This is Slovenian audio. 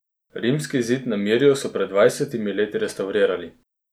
Rimski zid na Mirju so pred dvajsetimi leti restavrirali.